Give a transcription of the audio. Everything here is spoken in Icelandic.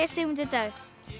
Sigmundur Davíð